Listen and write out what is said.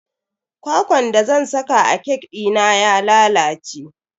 Kwakwan da zan saka a kek dina ya lalace.